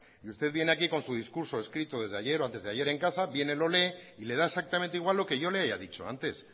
y usted viene aquí con su discurso escrito desde ayer o antes de ayer en casa viene lo lee y le da exactamente igual lo que yo le haya dicho antes